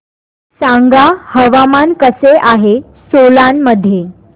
सांगा हवामान कसे आहे सोलान मध्ये